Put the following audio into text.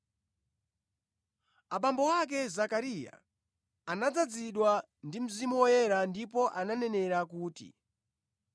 Abambo ake, Zakariya, anadzazidwa ndi Mzimu Woyera ndipo ananenera kuti,